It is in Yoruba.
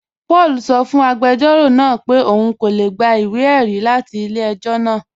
Paul sọ́ fún agbẹjọro náà pẹ̀ ọun kò lè gbà ìwé-ẹ̀rí latí ilẹ̀-ẹ̀jọ̀ lánà